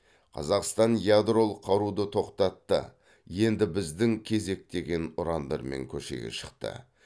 қазақстан ядролық қаруды тоқтатты енді біздің кезек деген ұрандармен көшеге шықты